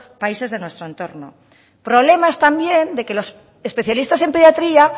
países de nuestro entorno problemas también de que los especialistas en pediatría